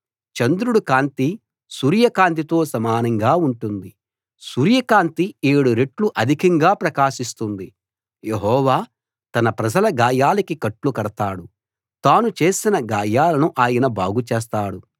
చంద్రుడి కాంతి సూర్య కాంతితో సమానంగా ఉంటుంది సూర్య కాంతి ఏడు రెట్లు అధికంగా ప్రకాశిస్తుంది యెహోవా తన ప్రజల గాయాలకి కట్లు కడతాడు తాను చేసిన గాయాలను ఆయన బాగు చేస్తాడు